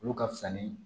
Olu ka fisa ni